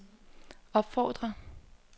opfordrer